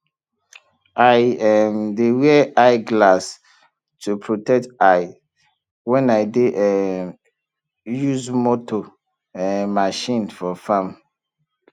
i um dey wear eye glass to protect eye when i dey um use motor um machine for farm